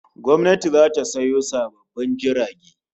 Gwamnati zata sayo sabbin jirage